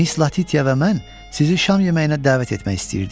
Miss Latiya və mən sizi şam yeməyinə dəvət etmək istəyirdik.